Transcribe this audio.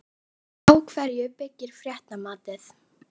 Á hverju byggir fréttamatið?